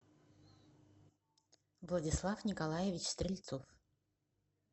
владислав николаевич стрельцов